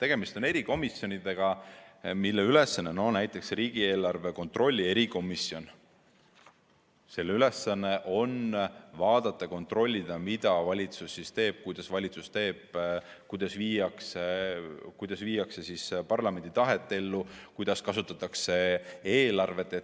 Tegemist on erikomisjonidega, mille ülesanne – no näiteks riigieelarve kontrolli erikomisjon – on vaadata, kontrollida, mida valitsus teeb, kuidas valitsus teeb, kuidas viiakse parlamendi tahet ellu, kuidas kasutatakse eelarvet.